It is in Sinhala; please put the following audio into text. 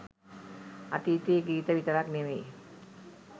අතීතයේ ගිත විතරක් නෙමෙයි